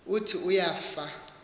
uthi uya fa